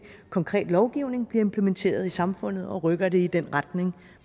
konkret lovgivning som bliver implementeret i samfundet og rykker det i den retning